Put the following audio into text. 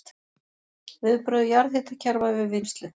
Viðbrögð jarðhitakerfa við vinnslu